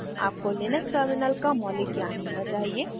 आपको Linux terminal का मौलिक ज्ञान होना चाहिए